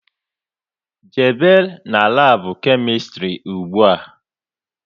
Jebe n'labu Kemistri ụgbụa!